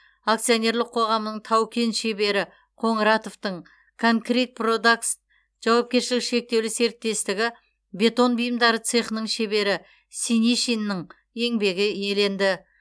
акционерлік қоғамының тау кен шебері қоңыратовтың конкрит продактс жауапкершілігі шектеулі серіктестігі бетон бұйымдары цехының шебері синишиннің еңбегі еленді